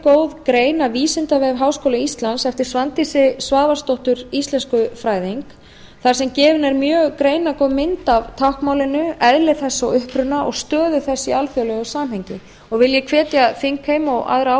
góð grein af vísindavef háskóla íslands eftir svandísi svavarsdóttur íslenskufræðing þar sem gefin er mjög greinargóð mynd af táknmálinu eðli þess og uppruna og stöðu þess í alþjóðlegu samhengi vil ég hvetja þingheim og aðra